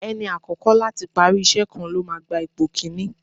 Ẹni àkọ́kọ́ láti parí ìṣe kan ló máa gba ipò kini.